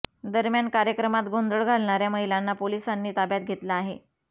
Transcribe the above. दरम्यान कार्यक्रमात गोंधळ घालणाऱ्या महिलांना पोलिसांनी ताब्यात घेतलं आहे